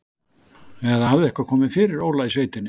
Eða hafði eitthvað komið fyrir Óla í sveitinni?